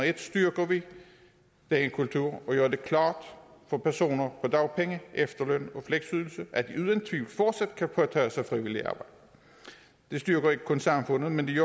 en styrker vi den kultur og gør det klart for personer på dagpenge efterløn og fleksydelse at de uden tvivl fortsat kan påtage sig frivilligt arbejde det styrker ikke kun samfundet men det